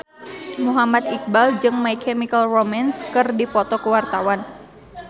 Muhammad Iqbal jeung My Chemical Romance keur dipoto ku wartawan